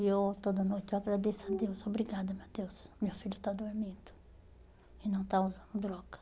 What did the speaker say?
E eu toda noite eu agradeço a Deus, obrigada meu Deus, meu filho está dormindo e não está usando droga.